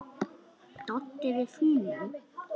Doddi: Við fúnum.